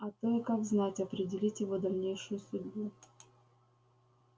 а то и как знать определить его дальнейшую судьбу